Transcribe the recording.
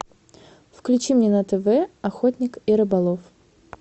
включи мне на тв охотник и рыболов